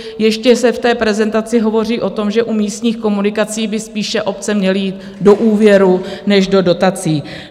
Ještě se v té prezentaci hovoří o tom, že u místních komunikací by spíše obce měly jít do úvěrů než do dotací.